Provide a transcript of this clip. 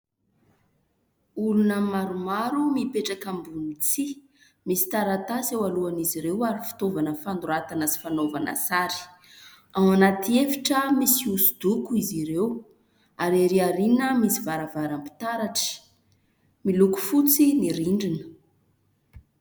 Olona maromaro mipetraka ambony tsihy. Misy taratasy eo alohan'izy ireo ary fitaovana fanoratana sy fanaovana sary. Ao anaty efitra misy hoso-doko izy ireo ary erỳ aoriana misy varavaram-pitaratra. Miloko fotsy ny rindrina.